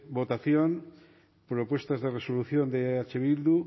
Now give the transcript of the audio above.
votación propuestas de resolución de eh bildu